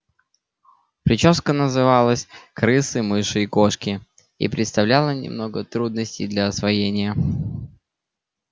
причёска называлась крысы мыши и кошки и представляла немного трудностей для освоения